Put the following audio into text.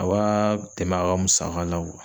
A b'a tɛmɛ a ka musaka la